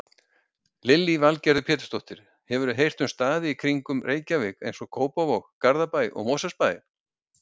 Lillý Valgerður Pétursdóttir: Hefurðu heyrt um staði í kringum Reykjavík, eins og Kópavog, Garðabæ, Mosfellsbæ?